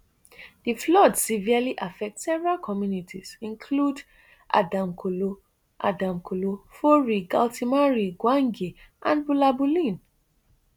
di flood severely affect several communities include adamkolo adamkolo fori galtimari gwange and bulabulin